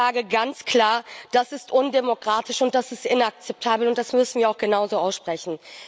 Ich sage ganz klar Das ist undemokratisch, das ist inakzeptabel, und das müssen wir auch genau so aussprechen.